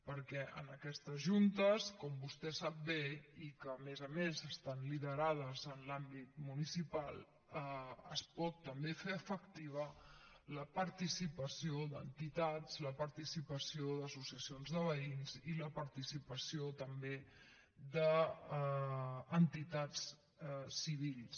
perquè en aquestes juntes com vostè sap bé i que a més a més estan liderades en l’àmbit municipal es pot també fer efectiva la participació d’entitats la participació d’associacions de veïns i la participació també d’entitats civils